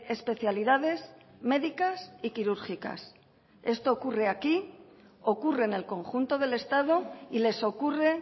especialidades médicas y quirúrgicas esto ocurre aquí ocurre en el conjunto del estado y les ocurre